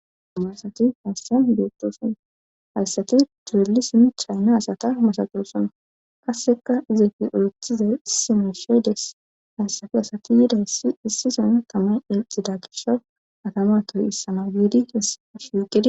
hamarsati haassan yopdooson haasati durelisin chayna asata masaxosona qasseka izeti oethizay issime sheedes haasafi asati yidayssi issison tamay ilxida gisho atama toy issama biidi keessaa shiiqidi